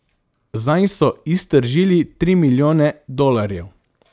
Zanj so iztržili tri milijone dolarjev.